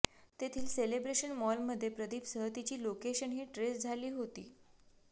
तेथील सेलेब्रेशन मॉलमध्ये प्रदीपसह तिची लोकेशनही ट्रेस झाली होती